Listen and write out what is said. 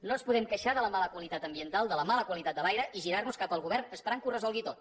no ens podem queixar de la mala qualitat ambiental de la mala qualitat de l’aire i girar nos cap al govern esperant que ho resolgui tot